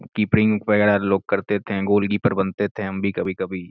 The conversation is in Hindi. कीपिंग वगेरा लोग कर देते है गोल्कीपर बनते थे हम भी कभी कभी।